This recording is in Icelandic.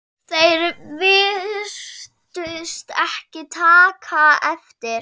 Þeir virtust ekki taka eftir